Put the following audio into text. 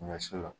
Ɲɔ si la